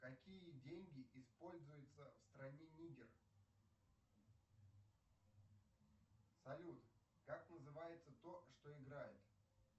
какие деньги используются в стране нигер салют как называется то что играет